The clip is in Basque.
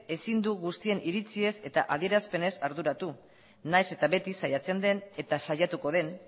ezin du guztien iritziez eta adierazpenez arduratu nahiz eta beti saiatzen den eta saiatuko den